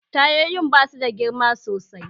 Tayoyin ba suda girma sosai